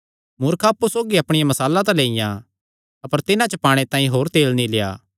मूर्खां अप्पु सौगी अपणियां मशालां तां लियां अपर तिन्हां च पाणे तांई होर तेल नीं लेआ